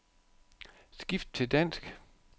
Skift til dansk.